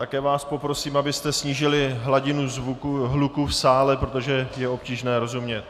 Také vás poprosím, abyste snížili hladinu hluku v sále, protože je obtížné rozumět.